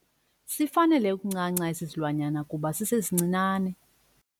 Sifanele ukuncanca esi silwanyana kuba sisesincinane.